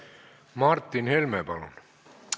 Martin Helme, palun!